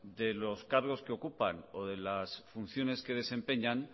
de los cargos que ocupan o de las funciones que desempeñan